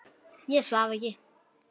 Ég svaf ekki.